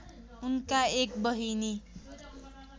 उनका एक बहिनी